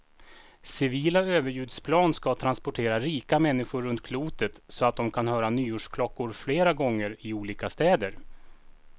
Civila överljudsplan ska transportera rika människor runt klotet så de kan höra nyårsklockor flera gånger, i olika städer.